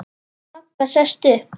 Magga sest upp.